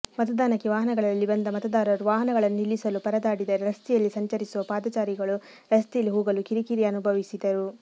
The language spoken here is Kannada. ಮತದಾನಕ್ಕೆ ವಾಹನಗಳಲ್ಲಿ ಬಂದ ಮತದಾರರು ವಾಹನಗಳನ್ನು ನಿಲ್ಲಿಸಲು ಪರದಾಡಿದರೆ ರಸ್ತೆಯಲ್ಲಿ ಸಂಚರಿಸುವ ಪಾದಚಾರಿಗಳು ರಸ್ತೆಯಲ್ಲಿ ಹೋಗಲು ಕಿರಿಕಿರಿ ಅನುಭವಿಸಿದರು